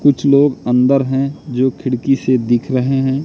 कुछ लोग अंदर हैं जो खिड़की से दिख रहे हैं।